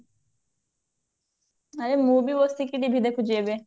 ଆରେ ମୁଁ ବି ବସିକି TV ଦେଖୁଛି ଏବେ